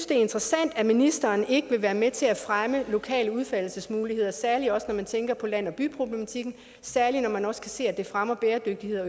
det er interessant at ministeren ikke vil være med til at fremme lokale udfoldelsesmuligheder særlig også når man tænker på land og by problematikken særlig når man også kan se at det fremmer bæredygtighed